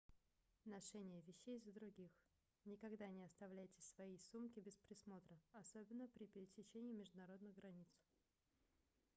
ношение вещей за других никогда не оставляйте свои сумки без присмотра особенно при пересечении международных границ